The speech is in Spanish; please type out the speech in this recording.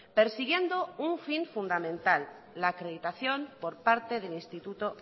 persiguiendo un fin fundamental la acreditación por parte del instituto